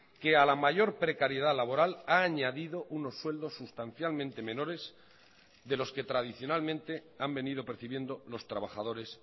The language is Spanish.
que a la mayor precariedad laboral ha añadido unos sueldos sustancialmente menores de los que tradicionalmente han venido percibiendo los trabajadores